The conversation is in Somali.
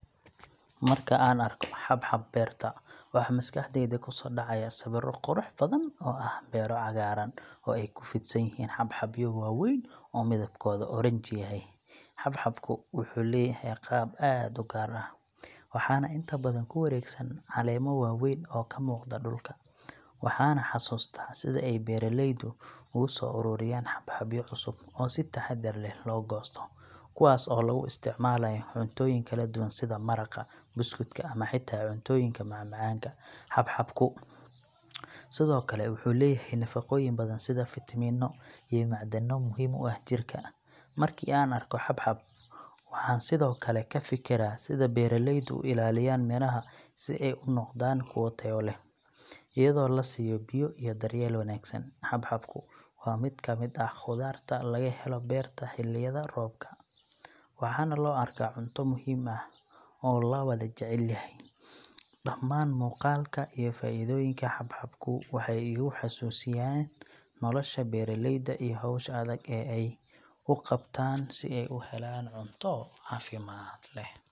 Marka aan arko xabxab beerta, waxaa maskaxdayda ku soo dhacaya sawirro qurux badan oo ah beero cagaaran oo ay ku fidsan yihiin xabxabyo waaweyn oo midabkoodu oranji yahay. Xabxabku wuxuu leeyahay qaab aad u gaar ah, waxaana inta badan ku wareegsan caleemo waaweyn oo ka muuqda dhulka. Waxaan xusuustaa sida ay beeraleydu ugu soo ururiyaan xabxabyo cusub oo si taxadar leh loo goosto, kuwaas oo lagu isticmaalayo cuntooyin kala duwan sida maraqa, buskudka ama xitaa cuntooyinka macmacaanka. Xabxabku sidoo kale wuxuu leeyahay nafaqooyin badan sida fiitamiinno iyo macdano muhiim u ah jidhka. Markii aan arko xabxab, waxaan sidoo kale ka fikiraa sida beeraleydu u ilaaliyaan miraha si ay u noqdaan kuwo tayo leh, iyadoo la siiyo biyo iyo daryeel wanaagsan. Xabxabku waa mid ka mid ah khudaarta laga helo beerta xilliyada roobka, waxaana loo arkaa cunto muhiim ah oo la wada jecel yahay. Dhammaan muuqaalka iyo faa'iidooyinka xabxabku waxay igu xusuusinayaan nolosha beeraleyda iyo hawsha adag ee ay u qabtaan si ay u helaan cunto caafimaad leh.